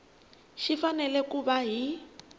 xi fanele ku va hi